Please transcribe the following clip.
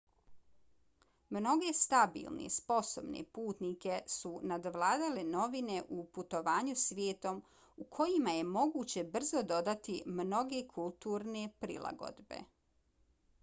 mnoge stabilne sposobne putnike su nadvladale novine u putovanju svijetom u kojima je moguće brzo dodati mnoge kulturne prilagodbe